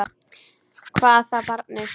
Hvað þá barni.